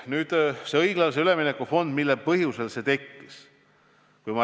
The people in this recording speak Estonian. Nüüd õiglase ülemineku fondist ja sellest, mis põhjusel see tekkis.